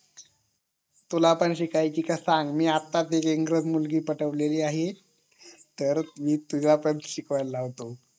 तुला पण शिकवायची का सांग मी आता एक मुलगी पटवलेली आहे तर मी तुला पण शिकवायला लावतो